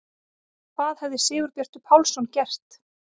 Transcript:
Hvað hefði Sigurbjartur Pálsson gert?